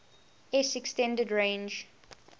s extended range